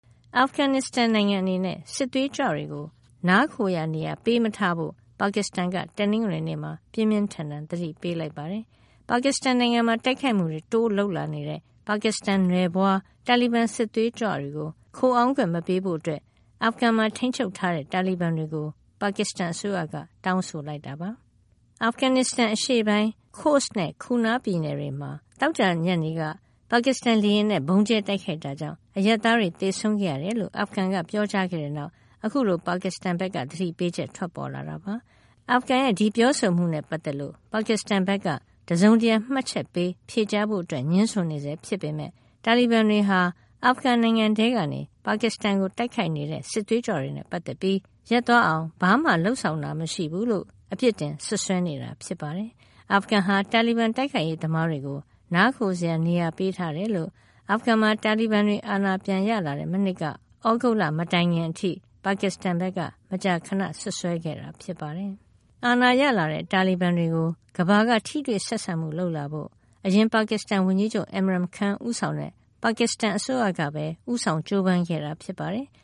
အာဖဂန်နစ္စတန်နိုင်ငံအနေနဲ့ စစ်သွေးကြွတွေကို နားခိုရာနေရာ ပေးမထားဖို့ ပါကစ္စတန်က တနင်္ဂနွေနေ့မှာ ပြင်းပြင်းထန်ထန် သတိပေးလိုက်ပါတယ်။ ပါကစ္စတန်နိုင်ငံမှာ တိုက်ခိုက်မှုတွေ တိုးလုပ်လာနေတဲ့ ပါကစ္စတန်နွယ်ဖွား တာလီဘန် စစ်သွေးကြွတွေကို ခိုအောင်းခွင့်မပေးဖို့ အာဖဂန်နစ္စတန်မှာ ထိန်းချုပ်ထားတဲ့ တာလီဘန်တွေကို ပါကစ္စတန်အစိုးရက တောင်းဆိုလိုက်တာ ဖြစ်ပါတယ်။ အာဖဂန်နစ္စတန်အရှေ့ပိုင်း Khost and Kuna ပြည်နယ်တွေမှာ သောကြာနေ့ညနေက ပါကစ္စတန်လေယာဉ်နဲ့ ဗုံးကြဲတိုက်ခိုက်တာကြောင့် အရပ်သားတွေ သေဆုံးခဲ့ရတယ်လို့ အာဖဂန်က ပြောကြားခဲ့တဲ့နောက်မှာ အခုလို ပါကစ္စတန်ဘက်က သတိပေးချက် ထွက်ပေါ်လာတာပါ။ အာဖဂန်ရဲ့ ဒီပြောဆိုမှုနဲ့ ပတ်သက်လို့ ပါကစ္စတန်ဘက်က တစုံတရာ မှတ်ချက်ပေး ဖြေကြားဖို့ ငြင်းဆိုဆဲဖြစ်ပေမယ့် တာလီဘန်တွေဟာ အာဖဂန်နိုင်ငံထဲကနေ ပါကစ္စတန်ကို တိုက်နေတဲ့ စစ်သွေးကြွတွေနဲ့ ပတ်သက်ပြီး ရပ်သွားအောင် ဘာမှလုပ်ဆောင်တာ မရှိဘူးလို့ အပြစ်တင် စွပ်စွဲနေတာ ဖြစ်ပါတယ်။ အာဖဂန်ဟာ တာလီဘန် တိုက်ခိုက်ရေးသမားတွေကို နားခိုစရာနေရာ ပေးထားတယ်လို့ အာဖဂန်မှာ တာလီဘန်တွေ ပြန်အာဏာရလာတဲ့ မနှစ် သြဂုတ်လ မတိုင်ခင်အထိ ပါကစ္စတန်ဘက်က မကြာခဏ စွပ်စွဲခဲ့တာ ဖြစ်ပါတယ်။ အာဏာရလာတဲ့ တာလီဘန်တွေကို ကမ္ဘာက ထိတွေ့ဆက်ဆံမှု လုပ်လာဖို့ အရင် ပါကစ္စတန်ဝန်ကြီးချုပ် Imran Khan ဦးဆောင်တဲ့ ပါကစ္စတန်အစိုးရကပဲ ဦးဆောင် ကြိုးပမ်းခဲ့တာ ဖြစ်ပါတယ်။